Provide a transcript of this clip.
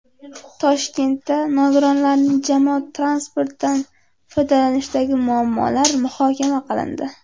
Toshkentda nogironlarning jamoat transportidan foydalanishidagi muammolar muhokama qilindi.